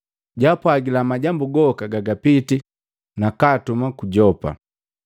jaapwagila majambu goka gagapitii, nakaatuma ku Yopa.